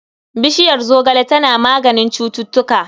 Bishiyar zogale tana maganin cututtuka.